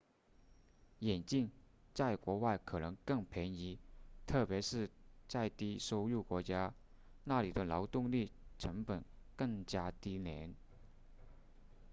眼镜在国外可能更便宜特别是在低收入国家那里的劳动力成本更加低廉